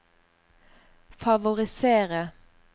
favorisere